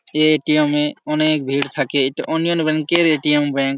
এই এ.টি.এম -এ অনেক ভিড় থাকে। এটা ব্যাঙ্ক এর এ.টি.এম ব্যাঙ্ক ।